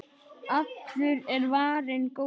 Allur er varinn góður.